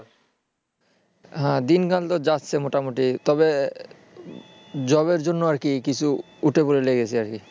দিনকাল তহ যাচ্ছে মোটামুটি তবে job এর জন্য আর কি কিছু উঠে পড়ে লেগেছি আর কি